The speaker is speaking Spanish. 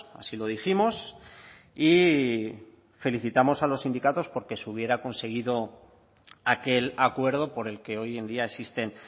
así lo dijimos y felicitamos a los sindicatos porque se hubiera conseguido aquel acuerdo por el que hoy en día existen